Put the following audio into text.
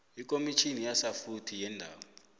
ekomitini yasafuthi yeendaba